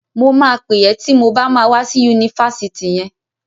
Mo máa pẹ̀ ẹ́ ti mo bá ma wá sí Yunifásitì yẹn.